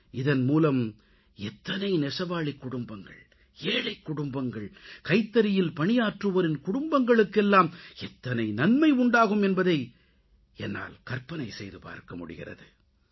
இதன் மூலம் எத்தனை நெசவாளிக் குடும்பங்கள் ஏழைக்குடும்பங்கள் கைத்தறியில் பணியாற்றுவோரின் குடும்பங்களுக்கெல்லாம் எத்தனை நன்மை உண்டாகும் என்பதை என்னால் கற்பனை செய்து பார்க்கமுடிகிறது